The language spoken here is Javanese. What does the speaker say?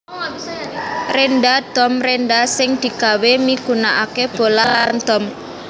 Rénda dom rénda sing digawé migunakaké bolah lan dom